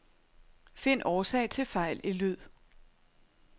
Find årsag til fejl i lyd.